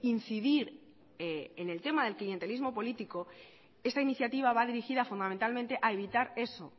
incidir en el tema del clientelismo político esta iniciativa va dirigida fundamentalmente a evitar eso